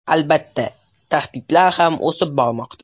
Albatta, tahdidlar ham o‘sib bormoqda.